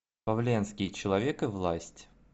павленский человек и власть